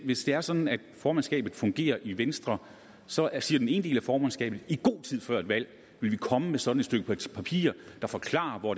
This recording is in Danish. hvis det er sådan formandskabet fungerer i venstre så siger den ene del af formandskabet at i god tid før et valg vil komme med et sådant stykke papir der forklarer hvor